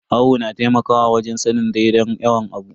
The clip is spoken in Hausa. Awo na taimakawa wajen sanin daidai yawan abu.